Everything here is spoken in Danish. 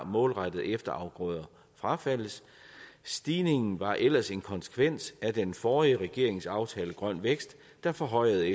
målrettet efterafgrøder frafaldes stigningen var ellers en konsekvens af den forrige regerings aftale grøn vækst der forhøjede